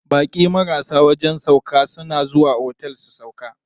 Baƙi marasa wajen sauƙa suna zuwa otel su sauƙa.